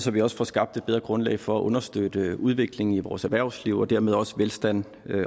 vi også får skabt et bedre grundlag for at understøtte udviklingen i vores erhvervsliv og dermed også velstand